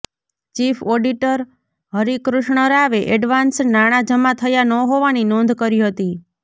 chief auditor Harikrishna રાવે advance નાણાં જમા થયા ન હોવાની નોંધ કરી હતી